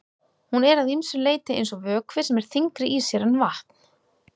Hún er að ýmsu leyti eins og vökvi sem er þyngri í sér en vatn.